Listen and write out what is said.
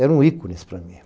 Eram ícones para mim.